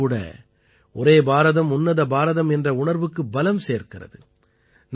இதுவும் கூட ஒரே பாரதம்உன்னத பாரதம் என்ற உணர்வுக்கு பலம் சேர்க்கிறது